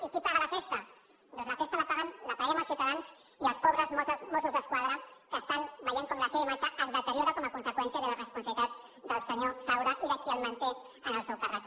i qui paga la festa doncs la festa la paguem els ciutadans i els pobres mossos d’esquadra que veuen com la seva imatge es deteriora com a conseqüència de la irresponsabilitat del senyor saura i de qui el manté en el seu càrrec